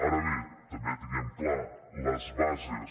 ara bé també tinguem ho clar les bases